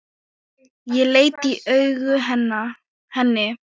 Ég leit í augu henni.